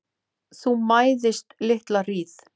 Þú mæðist litla hríð.